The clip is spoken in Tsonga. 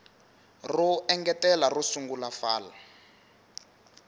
ro engetela ro sungula fal